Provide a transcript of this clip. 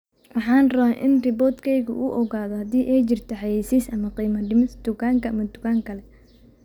Waxaan rabaa in robot-kayga uu ogaado haddii ay jirto xayeysiis ama qiimo dhimis dukaan ama dukaan kale